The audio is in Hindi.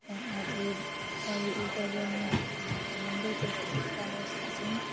और ये और ये ऊपर अ-अ मतलब मंदिर जैसा दिख रहा है उसका सीन --